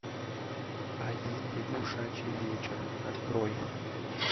один лягушачий вечер открой